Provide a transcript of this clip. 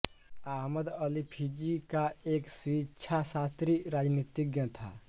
Ahmed Ali Fiji का एक शिक्षाशास्त्री और रानीतिज्ञ था